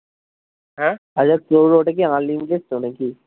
হ্যাঁ? আচ্ছা তোর ওটা কি unlimited তো নাকি?